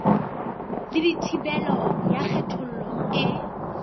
le thibelo ya kgethollo e